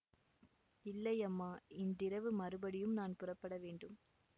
இல்லை அம்மா இன்றிரவு மறுபடியும் நான் புறப்பட வேண்டும்